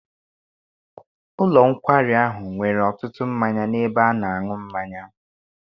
Ụlọ nkwari ahụ nwere ọtụtụ mmanya n'ebe ana-aṅụ mmanya.